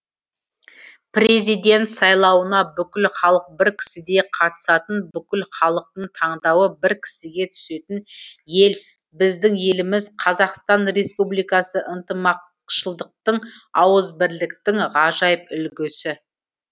президент сайлауына бүкіл халық бір кісідей қатысатын бүкіл халықтың таңдауы бір кісіге түсетін ел біздің еліміз қазақстан республикасы ынтымақшылдықтың ауызбірліктің ғажайып үлгісі